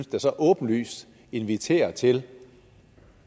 åbenlyst inviterer til